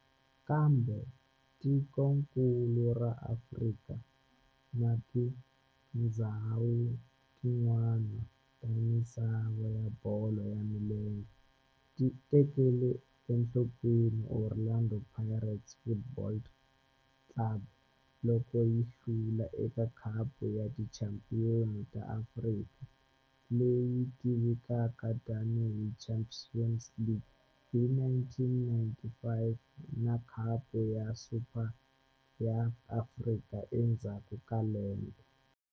Kambe tikonkulu ra Afrika na tindzhawu tin'wana ta misava ya bolo ya milenge ti tekele enhlokweni Orlando Pirates Football Club loko yi hlula eka Khapu ya Tichampion ta Afrika, leyi tivekaka tani hi Champions League, hi 1995 na Khapu ya Super ya Afrika endzhaku ka lembe.